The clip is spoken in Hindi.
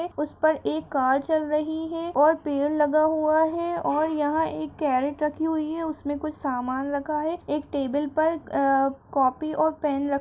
है उस पर एक कार चल रही है और पेड़ लगा हुआ है और यहाँ एक कैरट रखी हुई है। उसमें कुछ सामान रखा है। एक टेबल पर अ कॉपी और पेन रख --